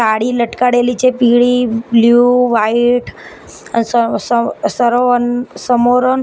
સાડી લટકાડેલી છે પીળી બ્લુ વાઈટ સ સ સરોવન સમોરન--